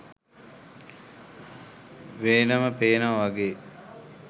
වෙනම පේනවා වගේ